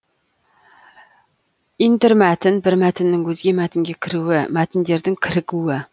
интермәтін бір мәтіннің өзге мәтінге кіруі мәтіндердің кірігуі